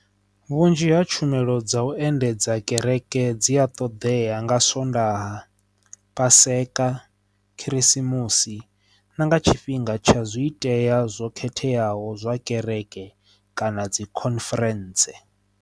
Vhunzhi ha tshumelo dza u endedza kereke dzi a ṱoḓea nga swondaha paseka, khirisimusi na nga tshifhinga tsha zwi itea zwo khetheaho zwa kereke kana dzi conference.